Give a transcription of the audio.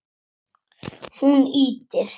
Hún ýtir